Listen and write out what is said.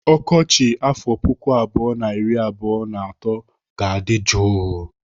Ọkọchị afọ puku abụọ na iri abụọ na atọ ga-adị jụụ.